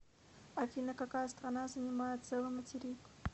афина какая страна занимает целый материк